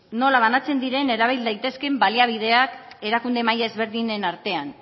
nola banatzen diren erabil daitezkeen baliabideak erakunde maila ezberdinen artean